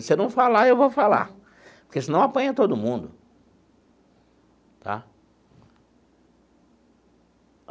Se você não falar, eu vou falar, porque senão apanha todo mundo tá.